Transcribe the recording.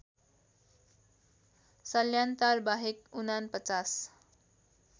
सल्यानटार बाहेक ४९